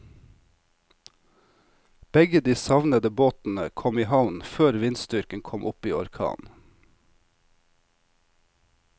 Begge de savnede båtene kom i havn før vindstyrken kom opp i orkan.